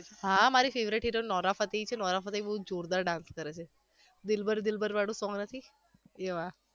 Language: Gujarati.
હા મારી favourite heroine નોરા ફતેહી છે નોરા ફતેહી બહુ જોરદાર dance કરે છે દિલબર દિલબર વાળુ song નથી? એમાં